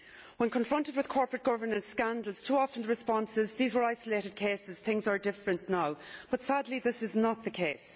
When confronted with corporate governance scandals too often the response is that these were isolated cases, things are different now, but sadly this is not the case.